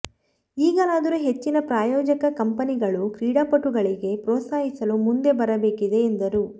ಈಗಲಾದರೂ ಹೆಚ್ಚಿನ ಪ್ರಾಯೋಜಕ ಕಂಪನಿಗಳು ಕ್ರೀಡಾಪಟುಗಳಿಗೆ ಪ್ರೋತ್ಸಾಹಿಸಲು ಮುಂದೆ ಬರಬೇಕಿದೆ ಎಂದರು